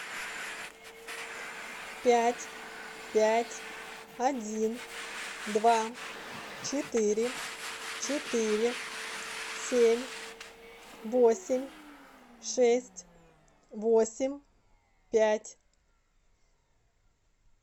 пять пять один два четыре четыре семь восемь шесть восемь пять